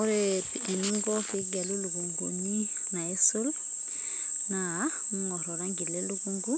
ore eninko pee igelu ilukukuni naaisul, naa ing'or oranki le lukunku